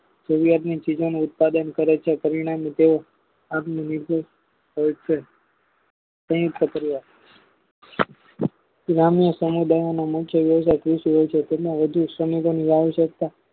સારુવાતની ઉત્પાદન કરે છે પરિણામે તે આત્મનિર્ભર હોય છે તેની છત્રીય ગ્રામ્ય સમુદાય તેના વધુ